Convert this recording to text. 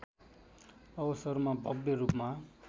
अवसरमा भव्य रूपमा